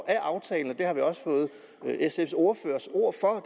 af aftalen det har vi også fået sfs ordførers ord for